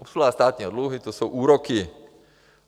Obsluha státního dluhu, to jsou úroky.